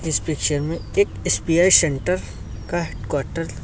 इस पिक्चर में एक एस_बी_आई सेंटर का हेड क्वार्टर --